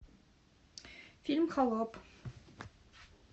фильм холоп